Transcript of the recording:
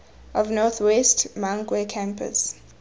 of north west mankwe campus